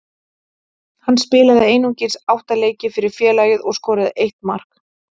Hann spilaði einungis átta leiki fyrir félagið og skoraði eitt mark.